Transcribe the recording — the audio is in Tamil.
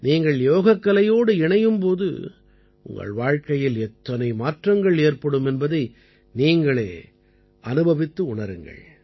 நீங்கள் யோகக்கலையோடு இணையும் போது உங்கள் வாழ்க்கையில் எத்தனை மாற்றங்கள் ஏற்படும் என்பதை நீங்களே அனுபவித்து உணருங்கள்